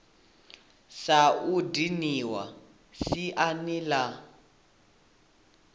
sa u dinwa siani la